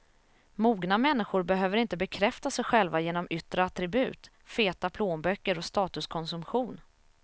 Mogna människor behöver inte bekräfta sig själva genom yttre attribut, feta plånböcker och statuskonsumtion.